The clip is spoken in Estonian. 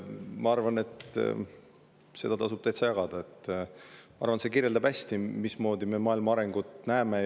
Ma arvan, et seda tasub täitsa jagada, sest see kirjeldab hästi, mismoodi me maailma arengut näeme.